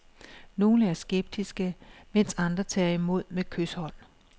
Nogle er skeptiske, mens andre tager imod med kyshånd.